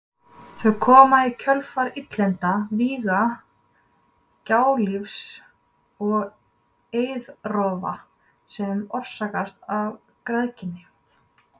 Þau koma í kjölfar illinda, víga, gjálífis og eiðrofa sem orsakast af græðginni.